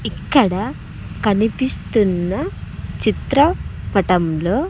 ఇక్కడ కనిపిస్తున్న చిత్రపటంలో.